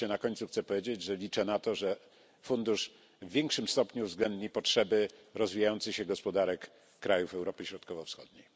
Wreszcie na końcu chcę powiedzieć, że liczę na to, że Fundusz w większym stopniu uwzględni potrzeby rozwijających się gospodarek krajów Europy Środkowo Wschodniej.